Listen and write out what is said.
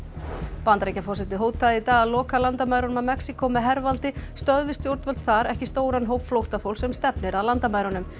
Bandaríkjaforseti hótaði í dag að loka landamærunum að Mexíkó með hervaldi stöðvi stjórnvöld þar ekki stóran hóp flóttafólks sem stefnir að landamærunum